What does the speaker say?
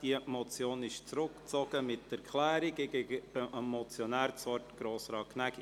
Diese Motion wird mit Erklärung zurückgezogen.